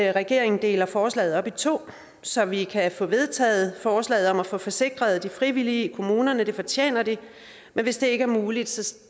regeringen deler forslag op i to så vi kan få vedtaget forslaget om at få forsikret de frivillige i kommunerne det fortjener de men hvis det ikke er muligt